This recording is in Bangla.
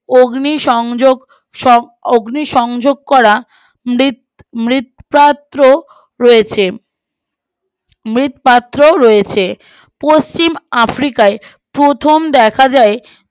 অগ্নি সংযোগ সং অগ্নি সংযোগ করা মৃৎ হয়েছে মৃৎ হয়েছে পশ্চিম আফ্রিকায় প্রথম দেখা যায়